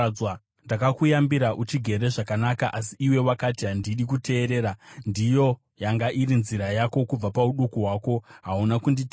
Ndakakuyambira uchigere zvakanaka, asi iwe wakati, ‘Handidi kuteerera!’ Ndiyo yanga iri nzira yako kubva pauduku hwako; hauna kunditeerera.